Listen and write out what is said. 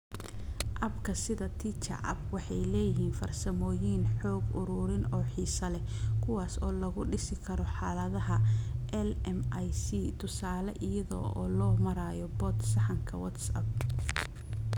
Abka sida TeacherTapp waxay leeyihiin farsamooyin xog ururin oo xiiso leh kuwaas oo lagu dhisi karo xaaladaha LMIC (tusaale, iyada oo loo marayo bot sahanka WhatsApp).